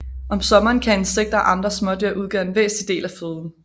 Om sommeren kan insekter og andre smådyr udgøre en væsentlig del af føden